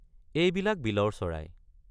এইবিলাক বিলৰ চৰাই।